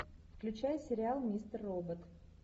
включай сериал мистер робот